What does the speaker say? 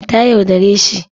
Ta yaudare shi